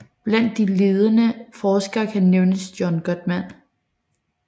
Blandt de ledende forskere kan nævnes John Gottman